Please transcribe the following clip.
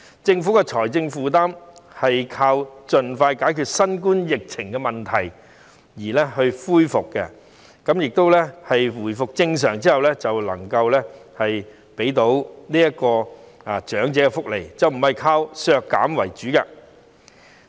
政府要解決財政負擔的問題，便應該盡快解決新冠肺炎疫情問題，待社會回復正常後能夠提供更多長者福利，而不是要現在削減長者福利。